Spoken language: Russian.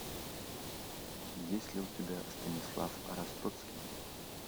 есть ли у тебя станислав ростоцкий